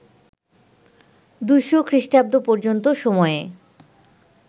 ২০০ খ্রিস্টাব্দ পর্যন্ত সময়ে